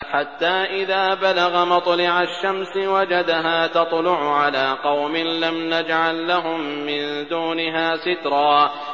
حَتَّىٰ إِذَا بَلَغَ مَطْلِعَ الشَّمْسِ وَجَدَهَا تَطْلُعُ عَلَىٰ قَوْمٍ لَّمْ نَجْعَل لَّهُم مِّن دُونِهَا سِتْرًا